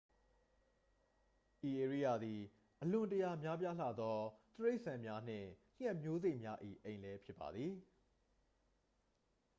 ဤဧရိယာသည် အလွန်တရာများပြားလှသော တိရစ္ဆာန်များနှင့် ငှက်မျိုးစိတ်များ၏ အိမ်လည်းဖြစ်ပါသည်